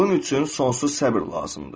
Bunun üçün sonsuz səbr lazımdır.